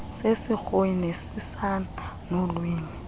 zesirhoyi nesisan nolwimi